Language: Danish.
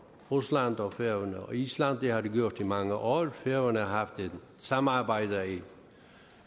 rusland og færøerne og island det har der gjort i mange år færøerne har haft et samarbejde i